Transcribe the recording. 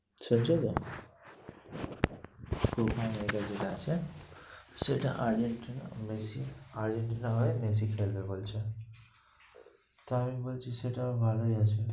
শুনছো তো copa america যেটা আছে সেটা আর্জেন্টিনা মেসি, আর্জেন্টিনা হয়ে মেসি খেলবে বলছে। তা আমি বলছি সেটা ভালোই আছে।